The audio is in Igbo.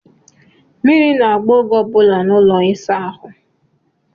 Mmiri na-agba oge ọ bụla n'ụlọ ịsa ahụ.